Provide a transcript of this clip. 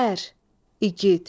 Ər, igid.